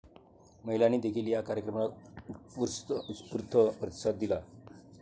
महिलांनी देखील या कार्यक्रमाला उत्स्फूर्त प्रतिसाद दिला.